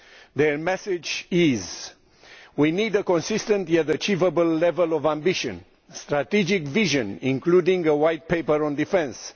Their message is that we need a consistent yet achievable level of ambition a strategic vision, including a white paper on defence